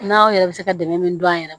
N'aw yɛrɛ bɛ se ka dɛmɛ min don an yɛrɛ ma